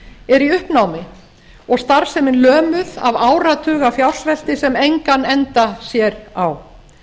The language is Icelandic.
er í uppnámi og starfsemin lömuð af áratuga fjársvelti sem engan enda sér á